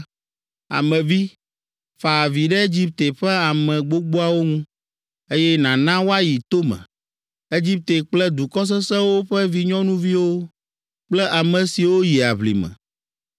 “Ame vi, fa avi ɖe Egipte ƒe ame gbogboawo ŋu, eye nàna woayi tome, Egipte kple dukɔ sesẽwo ƒe vinyɔnuviwo kple ame siwo yi aʋlime.